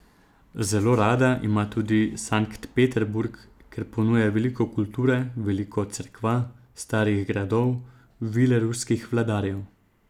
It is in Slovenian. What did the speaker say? Zelo rada ima tudi Sankt Peterburg, ker ponuja veliko kulture, veliko cerkva, starih gradov, vile ruskih vladarjev.